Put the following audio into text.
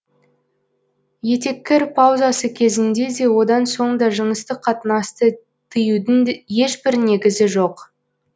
етеккір паузасы кезінде де одан соң да жыныстық қатынасты тыюдың ешбір негізі жоқ